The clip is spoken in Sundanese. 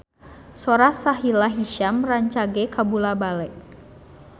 Sora Sahila Hisyam rancage kabula-bale